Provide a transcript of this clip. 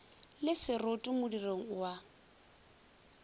le seroto modirong o a